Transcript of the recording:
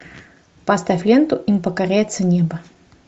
поставь ленту им покоряется небо